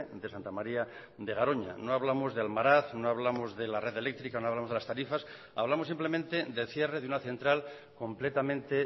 de santa maría de garoña no hablamos de almaraz no hablamos de la red eléctrica no hablamos de las tarifas hablamos simplemente del cierre de una central completamente